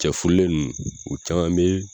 Cɛ furulen ninnu u caman bɛ.